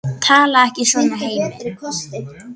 Talaðu ekki svona, Hemmi!